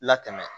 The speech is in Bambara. Latɛmɛ